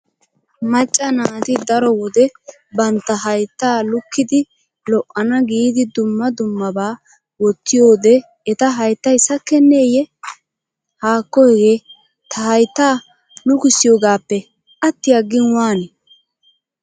Macca naati daro wode bantta hayttaa lukkidi lo'ana giidi dumma dummabaa wottiyode eta hayttay sakkenneeyye? Haakko hegee ta hayttaa lukissiyogaappe atti aggin waani?